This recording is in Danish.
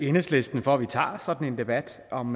enhedslisten for at vi tager sådan en debat om